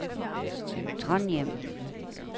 Trondhjem